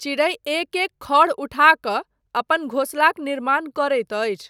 चिड़ै एक एक खढ़ उठा कऽ अपन घोसलाक निर्माण करैत अछि।